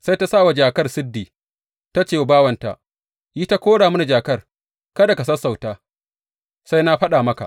Sai ta sa wa jakar sirdi ta ce wa bawanta, Yi ta kora mini jakar, kada ka sassauta, sai na faɗa maka.